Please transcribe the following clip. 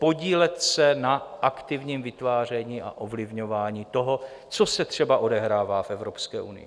Podílet se na aktivním vytváření a ovlivňování toho, co se třeba odehrává v Evropské unii.